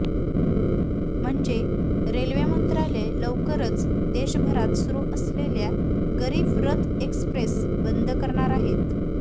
म्हणजे रेल्वे मंत्रालय लवकरच देशभरात सुरू असलेल्या गरीब रथ एक्स्प्रेस बंद करणार आहे